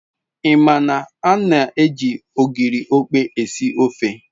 I ma na an-eji ogiri okpei esi ofe